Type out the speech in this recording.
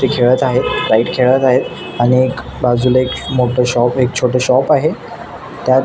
ते खेळत आहेत काइ खेळत आहे आणि एक बाजुला एक मोठ शाॅप एक छोट शाॅप आहे त्या--